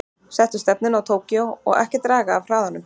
Settu stefnuna á Tókýó og ekki draga af hraðanum.